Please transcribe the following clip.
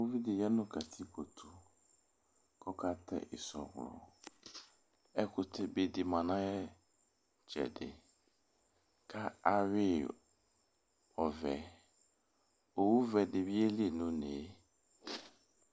Uvi dɩ ya katikpo tʋ kʋ ɔkatɛ ɩsɔɣlɔ Ɛkʋtɛbɛ dɩ ma nʋ ayʋ ɩtsɛdɩ kʋ ayʋɩ yɩ ɔvɛ Owuvɛ dɩ bɩ yeli nʋ une yɛ